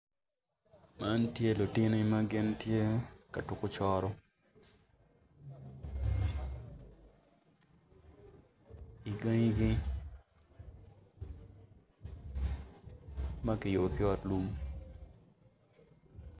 Man tye lutini ma gin tye ka tuko coro i gangigi ma kiyubo ki ot lum.